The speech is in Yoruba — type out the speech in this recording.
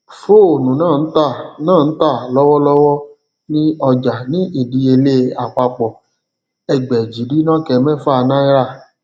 fóònù náà n tà náà n tà lọwọlọwọ ní ọjà ní ìdíyelé àpapọ ẹgbèjìdínokemefa náírà